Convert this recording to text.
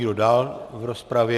Kdo dál v rozpravě?